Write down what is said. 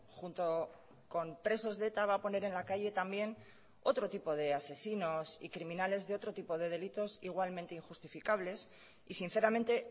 junto con presos de eta va a poner en la calle también otro tipo de asesinos y criminales de otro tipo de delitos igualmente injustificables y sinceramente